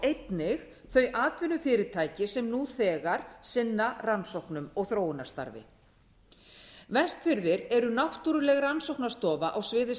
einnig þau atvinnufyrirtæki sem nú þegar sinna rannsóknum og þróunarstarfi vestfirðir eru náttúruleg rannsóknastofa á sviði